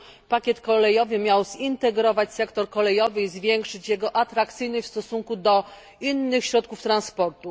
pakiet kolejowy miał zintegrować sektor kolejowy i zwiększyć jego atrakcyjność w stosunku do innych środków transportu.